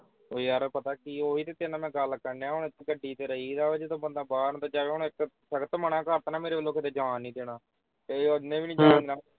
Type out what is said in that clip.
ਉਹ ਯਾਰ ਪਤਾ ਕੀ ਓਹੀ ਤੇ ਤੇਰੇ ਨਾਲ ਮੈਂ ਗੱਲ ਕਰਨ ਦਿਆ ਹੁਣ ਗੱਡੀ ਵਿਚ ਰਹੀਦਾ ਵਾ ਜਦੋਂ ਬੰਦਾ ਬਾਹਰ ਅੰਦਰ ਜਾਏਗਾ ਹੁਣ ਇਕ ਘੱਟ ਮੇਰੇ ਵੋਲੋਂ ਕਿਤੇ ਜਾਣ ਨਹੀਂ ਦੇਣਾ ਤੇ ਉਹ ਨੇ ਵੀ ਨੀ ਜਾਣ ਦੇਣਾ।